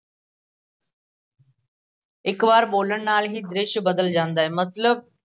ਇੱਕ ਵਾਰ ਬੋਲਣ ਨਾਲ ਹੀ ਦ੍ਰਿਸ਼ ਬਦਲ ਜਾਂਦਾ ਹੈ ਮਤਲਬ